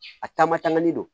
A taama tangali don